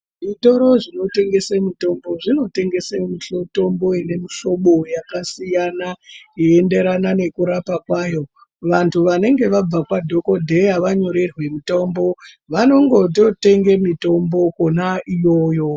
Zvitoro zvinotengese mitombo zvinotengese mitombo ine mihlobo yakasiyana yeienderana nekurapa kwayo. Vantu vanenge vabva kwadhokodheya vanyorerwe mitombo vanongototenge mitombo kwona iyoyo.